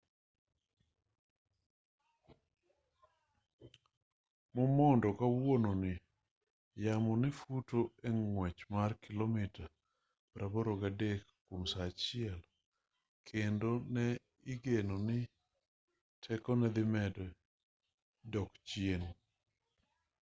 momondo kawuono ni yamo ne futo e ng'wech mar kilomita 83 kwom saa achiel kendo ne igeno ni tekone dhi medo dok chien